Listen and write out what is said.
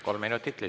Kolm minutit lisaks.